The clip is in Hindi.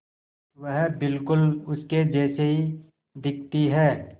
वह बिल्कुल उसके जैसी दिखती है